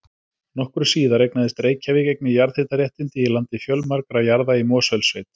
Nokkru síðar eignaðist Reykjavík einnig jarðhitaréttindi í landi fjölmargra jarða í Mosfellssveit.